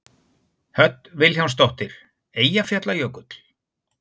Hödd Vilhjálmsdóttir: Eyjafjallajökull?